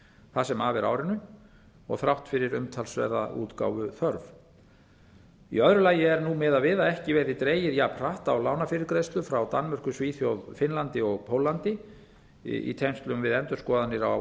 það sem af er árinu þrátt fyrir umtalsverða útgáfuþörf í öðru lagi er nú miðað við að ekki verði dregið jafnhratt á lánafyrirgreiðslu frá danmörku svíþjóð finnlandi og póllandi í tengslum við endurskoðanir á